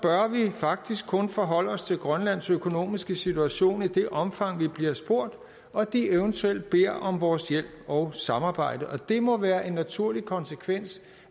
faktisk kun forholde os til grønlands økonomiske situation i det omfang vi bliver spurgt og de eventuelt beder om vores hjælp og samarbejde det må være en naturlig konsekvens